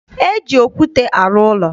E ji okwute arụ ụlọ.